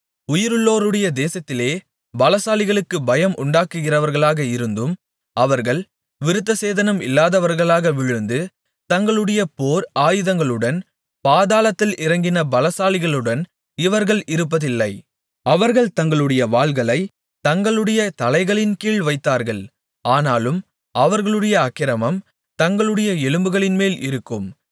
உயிருள்ளோருடைய தேசத்திலே பலசாலிகளுக்குக் பயம் உண்டாக்குகிறவர்களாக இருந்தும் அவர்கள் விருத்தசேதனம் இல்லாதவர்களாக விழுந்து தங்களுடைய போர் ஆயுதங்களுடன் பாதாளத்தில் இறங்கின பலசாலிகளுடன் இவர்கள் இருப்பதில்லை அவர்கள் தங்களுடைய வாள்களைத் தங்களுடைய தலைகளின்கீழ் வைத்தார்கள் ஆனாலும் அவர்களுடைய அக்கிரமம் தங்களுடைய எலும்புகளின்மேல் இருக்கும்